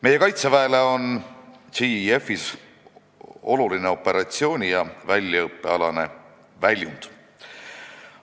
Meie Kaitseväele on JEF-i puhul oluline operatsiooni ja väljaõppealane väljund.